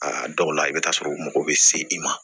Aa dɔw la i bɛ t'a sɔrɔ u mago bɛ se i ma